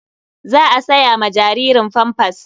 Za a saya ma jaririn famfas.